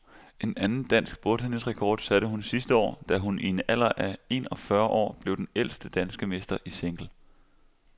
En anden dansk bordtennisrekord satte hun sidste år, da hun i en alder af en og fyrre år blev den ældste danske mester i single.